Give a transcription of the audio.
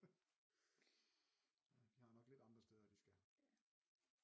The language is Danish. De har nok lidt andre steder de skal